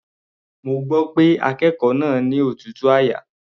Mo gbọ́ pé akékòó náà ni òtútù àyà.